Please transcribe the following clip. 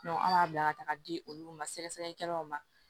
an b'a bila ka taaga di olu ma sɛgɛsɛgɛlikɛlaw ma